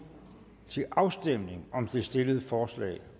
til afstemning om det stillede forslag